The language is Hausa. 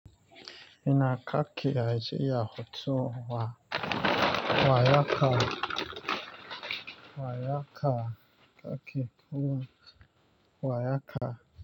Ina kaki a jiya hotu wa wa yaka wa yaka kaki kuma wa yaka.